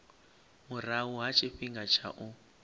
murahu ha tshifhinga tsha u